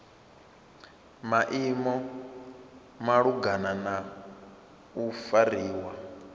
maimo malugana na u fariwa